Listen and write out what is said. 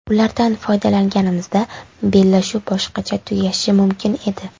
Ulardan foydalanganimizda bellashuv boshqacha tugashi mumkin edi.